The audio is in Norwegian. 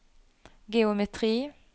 geometri